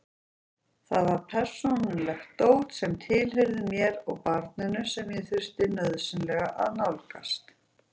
Þar var persónulegt dót sem tilheyrði mér og barninu sem ég þurfti nauðsynlega að nálgast.